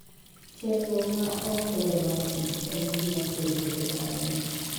Chenro ma ok ber mar kich en gima kelo pek ahinya.